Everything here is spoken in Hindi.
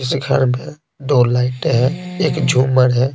इस घर में दो लाइट है एक झूमर है।